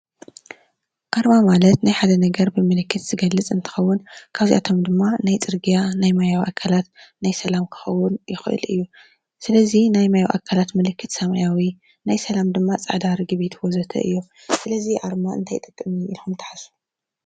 ኣርማ ማለት ናይ ሓደ ነገር ብምልክት ዝገልፅ እንትኸውን ካብዚኣቶም ድማ ናይ ፅርግያ፣ ናይ ማያዊ ኣካላት ናይ ሰላም ክኸውን ይክእል እዩ። ስለዚ ናይ ማያዊ ኣካላት ምልክት ሰማያዊ ፣ናይ ሰላም ድማ ፃዕዳ ርግቢት ወዘተ እዩ። ስለዚ ኣርማ ንምንታይ ይጠቅም ኢልኩም ትሓስቡ?